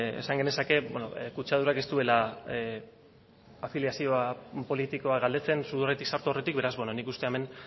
esan genezake kutsadurak ez duela afiliazio politikoa galdetzen sudurretik sartu aurretik beraz nik uste hemen